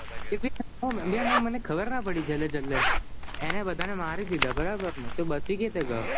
એમાં મને ખબર ના પડી છેલે છેલે એને બધા ને મારી દીધા તો બચી કેવી રીતે ગ્યો